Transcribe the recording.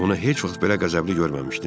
Onu heç vaxt belə qəzəbli görməmişdim.